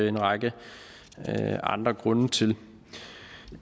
en række andre grunde til